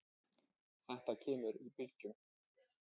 Þetta kemur í bylgjum.